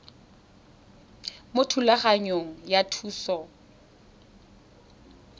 mo thulaganyong ya thuso y